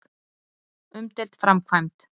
Umdeild framkvæmd.